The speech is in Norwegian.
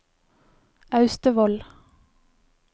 Austevoll